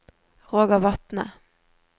Roger Vatne